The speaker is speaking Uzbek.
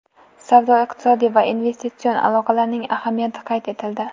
Savdo-iqtisodiy va investitsion aloqalarning ahamiyati qayd etildi.